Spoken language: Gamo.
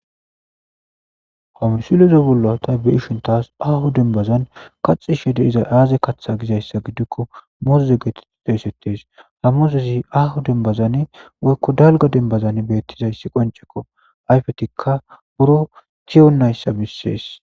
hamusileze bollo ta beishintas ahu dembazan kaxi shede izay aaze katha gizayssa giddikko moze geeteti doysettes hamozezi ahu denbazan woykko dalga denbazan beettizayssi qoncekko ayfetikka buro tiyonayssa bissees